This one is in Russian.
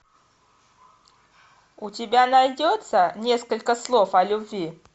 у тебя найдется несколько слов о любви